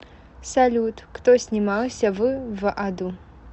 салют кто снимался в в аду